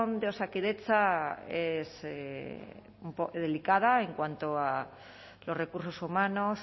de osakidetza es delicada en cuanto a los recursos humanos